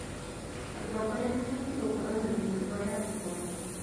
Atongoria mabatiĩ gũkorwo na mĩtugo ya igũrũ.